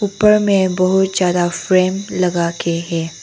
ऊपर में बहुत ज्यादा फ्रेम लगा के है।